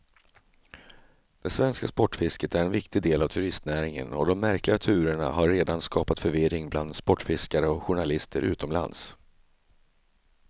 Det svenska sportfisket är en viktig del av turistnäringen och de märkliga turerna har redan skapat förvirring bland sportfiskare och journalister utomlands.